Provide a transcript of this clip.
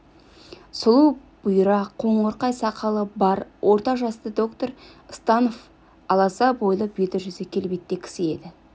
сұлу бұйра қоңырқай сақалы бар орта жасты доктор станов аласа бойлы беті-жүзі келбетті кісі еді